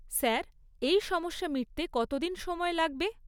Sir, এই সমস্যা মিটতে কতদিন সময় লাগবে?